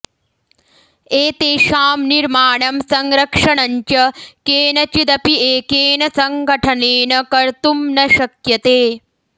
एतेषां निर्माणं संरक्षणञ्च केनचिदपि एकेन संगठनेन कर्तुं न शक्यते